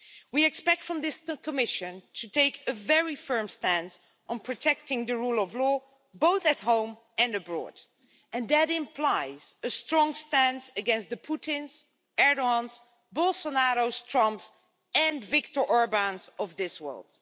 We expect this Commission to take a very firm stance on protecting the rule of law both at home and abroad, and that implies a strong stance against the Putins, Erdoğans, Bolsonaros, Trumps and Viktor Orbáns of this world.